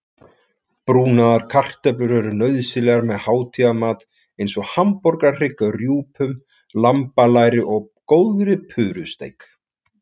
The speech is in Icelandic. Brúnaðar kartöflur eru nauðsynlegar með hátíðamat eins og hamborgarhrygg, rjúpum, lambalæri og góðri purusteik.